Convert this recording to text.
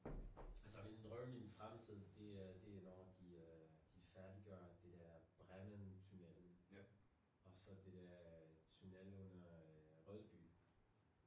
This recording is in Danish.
Altså min drøm min fremtid det er det når de øh de førdiggør det der Brenner tunellen og så det der tunnel under øh Rødby